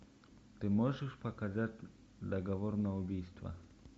ты можешь показать договор на убийство